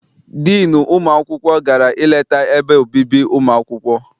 Diinu ụmụ akwụkwọ gara I leta ebe obibi ụmụ akwụkwọ.